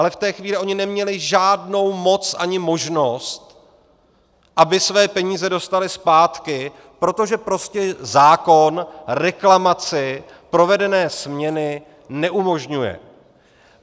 Ale v té chvíli oni neměli žádnou moc ani možnost, aby své peníze dostali zpátky, protože prostě zákon reklamaci provedené směny neumožňuje.